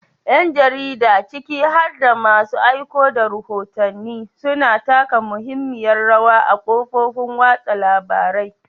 Yan jarida, ciki har da masu aiko da rahotanni, suna taka muhimmiyar rawa a kafofin watsa labarai.